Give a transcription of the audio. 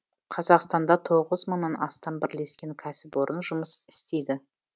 қазақстанда тоғыз мыңнан астам бірлескен кәсіпорын жұмыс істейді